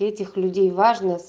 этих людей важно